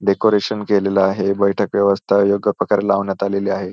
Decoration केलेलं आहे बैठक व्यवस्था योग्य प्रकारे लावण्यात आलेली आहे.